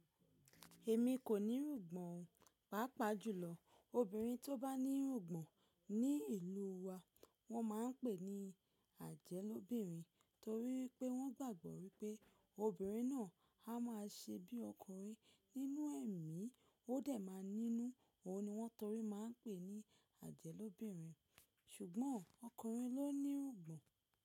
Èmi kò ní irùn gbọ̀n, pàápàá jùlọ obìnrin tó bá ní irùn gbọ̀n ní ìlú wa wọ́n máa ń pè ní ajẹlóbìnrin torí pé wọ́n gbàgbọ́ wípé obìnrin náà á máa ṣe bí ọkùnrin nínú ẹ̀mí ó dẹ̀ máa nínú òun ni wọ́n torí máa ń pè ní ajẹlóbìnrin ṣùgbọ́n ọkùnrin ló ní rùgbọ̀n.